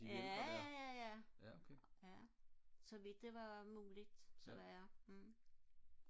jajaja ja så vidt det var muligt så var jeg